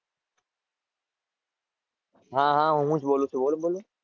હાં હાં હું જ બોલું છું. બોલો બોલો.